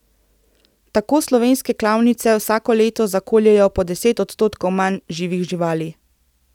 Tako slovenske klavnice vsako leto zakoljejo po deset odstotkov manj živih živali.